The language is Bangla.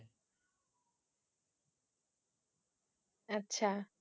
আচ্ছা